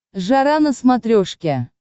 жара на смотрешке